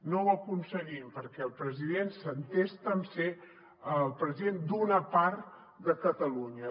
no ho aconseguim perquè el president s’entesta a ser el president d’una part de catalunya